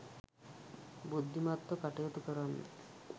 බුද්ධිමත්ව කටයුතු කරන්න.